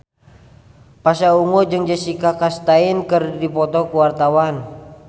Pasha Ungu jeung Jessica Chastain keur dipoto ku wartawan